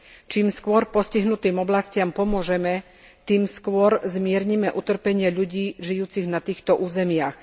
Čím skôr postihnutým oblastiam pomôžeme, tým skôr zmiernime utrpenie ľudí žijúcich na týchto územiach.